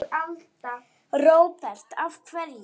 Róbert: Af hverju?